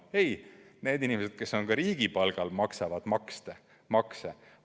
Ei, need inimesed, kes on riigipalgal, maksavad ka makse.